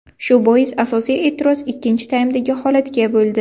Shu bois asosiy e’tiroz ikkinchi taymdagi holatga bo‘ldi.